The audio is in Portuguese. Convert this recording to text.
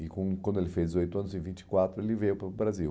E quando quando ele fez dezoito anos, em vinte e quatro, ele veio para o Brasil.